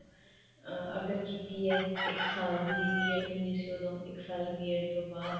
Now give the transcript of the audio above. ਅਮ ਅਗਰ ਕੀਤੀ ਹੈ ਇੱਕ ਸਾਲ ਦੀ B.ED ਹੁੰਦੀ ਸੀ ਓਦੋਂ ਇੱਕ ਸਾਲ ਦੀ B.ED ਤੋਂ ਬਾਅਦ